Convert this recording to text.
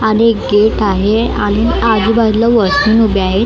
आणि एक गेट आहे आणि आजुबाजूला वॉशिंग उभ्या आहे.